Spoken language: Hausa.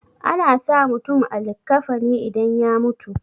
ana sa mutum a likkafani idan ya mutu